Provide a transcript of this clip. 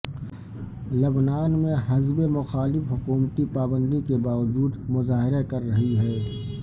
لبنان میں حزب مخالف حکومتی پابندی کے باوجود مظاہرہ کر رہی ہے